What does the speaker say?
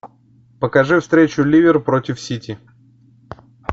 покажи встречу ливер против сити